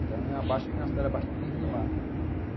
Então é uma abaixo, é uma cidade abaixo do nível do mar.